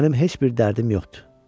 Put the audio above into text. Mənim heç bir dərdim yoxdur.